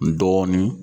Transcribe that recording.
N dɔɔnin